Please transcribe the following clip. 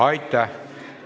Aitäh!